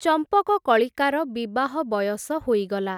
ଚମ୍ପକକଳିକାର, ବିବାହ ବୟସ ହୋଇଗଲା ।